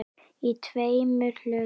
Í tveimur hlutum.